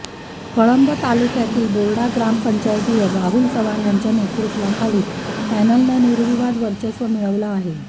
कळंब तालुक्यातील बोर्डा ग्रामपंचायतीवर राहुल चव्हाण यांच्या नेतृत्वातील पॅनलनं निर्विवाद वर्चस्व मिळवलं आहे